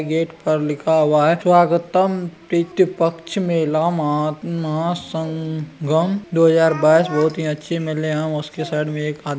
gate पर लिखा हुआ है स्वागतम प्रितृपक्ष मेला मा महासंगम दो हज़ार बाईस बहुत ही अच्छी मेले है और उस के साइड में एक आद --